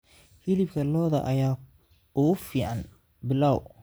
Hilibka lo'da ayaa ugu fiican pilaf.